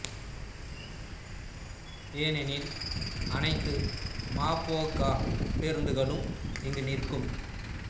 ஏனெனில் அனைத்து மா போ க பேருந்துகளும் இங்கு நிற்கும்